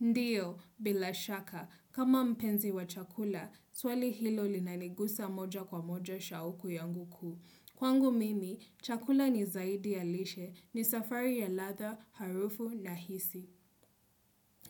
Ndio, bila shaka, kama mpenzi wa chakula, swali hilo linaniguza moja kwa moja shauku yangu kuu. Kwangu mimi, chakula ni zaidi ya lishe, ni safari ya ladha, harufu na hisi.